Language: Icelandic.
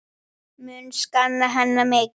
Mun sakna hennar mikið.